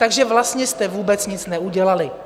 Takže vlastně jste vůbec nic neudělali.